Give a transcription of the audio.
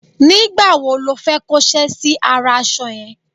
nígbà wo lo fẹ́ kó ṣẹ́ sí ara aṣọ yẹn?